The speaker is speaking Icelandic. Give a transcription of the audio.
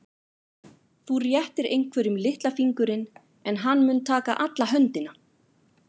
Þú réttir einhverjum litla fingurinn en hann mun taka alla höndina.